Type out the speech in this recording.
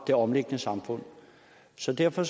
det omliggende samfund så derfor